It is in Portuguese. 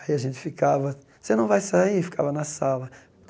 Aí a gente ficava, você não vai sair, ficava na sala.